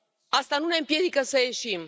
Asta nu ne împiedică să ieșim.